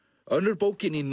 önnur bókin í